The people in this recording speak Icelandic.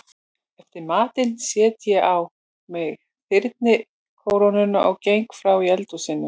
Eftir matinn set ég á mig þyrnikórónuna og geng frá í eldhúsinu.